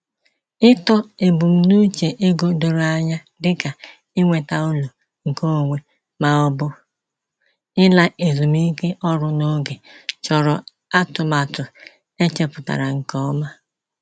Ịtọ ebumnuche ego doro anya dịka inweta ụlọ nke onwe ma ọ bụ ịla ezumike ọrụ n’oge chọrọ atụmatụ e chepụtara nke ọma.